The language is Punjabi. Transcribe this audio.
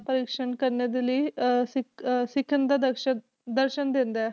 ਪ੍ਰਦਰਸ਼ਨ ਕਰਨ ਦੇ ਲਈ ਅਹ ਸਿੱਖ ਅਹ ਸਿੱਖਣ ਦਾ ਦਰਸ਼ਕ ਦਰਸ਼ਨ ਦਿੰਦਾ ਹੈ।